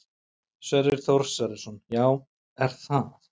Sverrir Þór Sverrisson: Já, er það?